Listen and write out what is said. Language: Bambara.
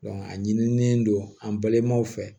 a ɲinilen don an balimaw fɛ